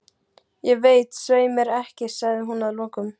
Ég veit svei mér ekki, sagði hún að lokum.